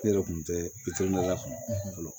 Ne yɛrɛ kun tɛ bitɔn dala kɔnɔ fɔlɔ